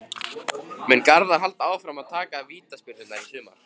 Mun Garðar halda áfram að taka vítaspyrnurnar í sumar?